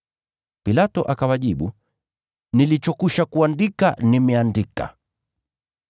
Pilato akawajibu, “Nilichokwisha kuandika, nimeandika!”